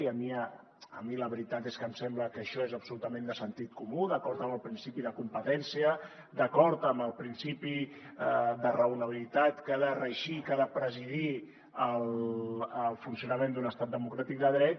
i a mi la veritat és que em sembla que això és absolutament de sentit comú d’acord amb el principi de competència d’acord amb el principi de raonabilitat que ha de regir i que ha de presidir el funcionament d’un estat democràtic de dret